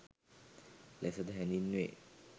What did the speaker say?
ලෙස ද හැඳින්වේ.